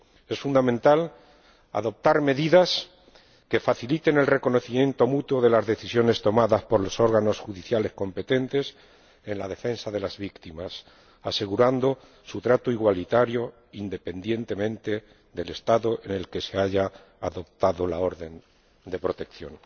Es fundamental adoptar medidas que faciliten el reconocimiento mutuo de las decisiones tomadas por los órganos judiciales competentes en la defensa de las víctimas, asegurando su trato igualitario, independientemente del Estado en que se haya adoptado la orden de protección.